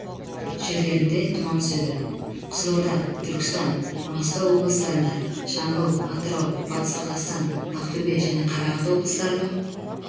жерлерінде тұман түседі қызылорда түркістан маңғыстау облыстарында жамбыл атырау батыс қазақстан ақтөбе және қарағанды облыстарының